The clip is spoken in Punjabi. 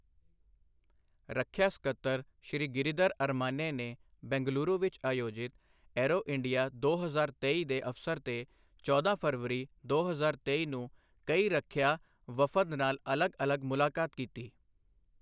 ਰੱਖਿਆ ਸਕੱਤਰ ਸ਼੍ਰੀ ਗਿਰੀਧਰ ਅਰਮਾਨੇ ਨੇ ਬੰਗਲੁਰੂ ਵਿੱਚ ਆਯੋਜਿਤ ਏਅਰੋ ਇੰਡੀਆ ਦੋ ਹਜ਼ਾਰ ਤੇਈ ਦੇ ਅਵਸਰ ਤੇ ਚੌਦਾਂ ਫਰਵਰੀ ਦੋ ਹਜ਼ਾਰ ਤੇਈ ਨੂੰ ਕਈ ਰੱਖਿਆ ਵਫ਼ਦ ਨਾਲ ਅਲੱਗ ਅਲੱਗ ਮੁਲਾਕਾਤ ਕੀਤੀ।